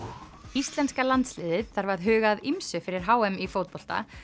íslenska landsliðið þarf að huga að ýmsu fyrir h m í fótbolta